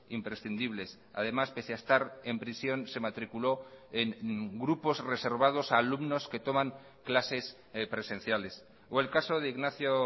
imprescindibles además pese a estar en prisión se matriculó en grupos reservados a alumnos que toman clases presenciales o el caso de ignacio